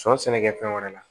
Sɔ sɛnɛkɛfɛn wɛrɛ la